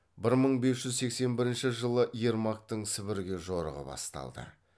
бір мың бес жүз сексен бірінші жылы ермактың сібірге жорығы басталды